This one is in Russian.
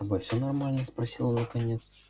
с тобой все нормально спросил он наконец